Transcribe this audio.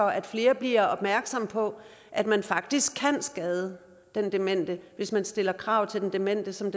at flere bliver opmærksomme på at man faktisk kan skade den demente hvis man stiller krav til den demente som